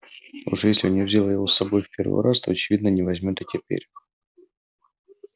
уж если он не взял его с собой в первый раз то очевидно не возьмёт и теперь